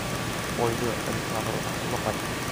ольга александровна лопатина